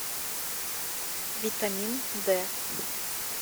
витамин д